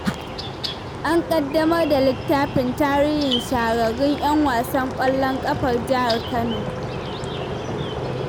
An ƙaddamar da littafin tarihin shahararrun 'yan wasan ƙwallon ƙafar jihar Kano.